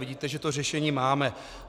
Vidíte, že to řešení máme.